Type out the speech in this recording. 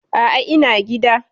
A'a, ina gida.